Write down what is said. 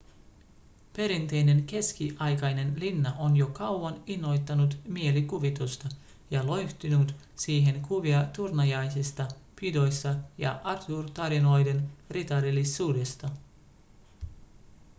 perinteinen keskiaikainen linna on jo kauan innoittanut mielikuvitusta ja loihtinut siihen kuvia turnajaisista ‎pidoista ja arthur-tarinoiden ritarillisuudesta.‎